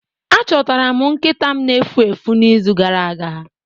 Achọtara m nkịta m na-efu efu n'izu gara aga.